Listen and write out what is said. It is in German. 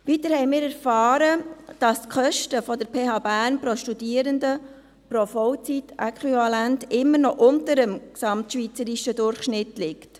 Weiter haben wir erfahren, dass die Kosten der PH Bern pro Studierenden pro Vollzeitäquivalent immer noch unter dem gesamtschweizerischen Durchschnitt liegen.